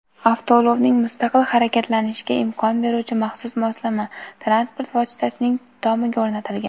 Avtoulovning mustaqil harakatlanishiga imkon beruvchi maxsus moslama transport vositasining tomiga o‘rnatilgan.